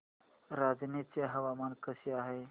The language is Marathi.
रांझणी चे हवामान कसे आहे